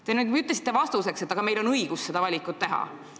Te ütlesite vastates, et meil on õigus seda valikut teha.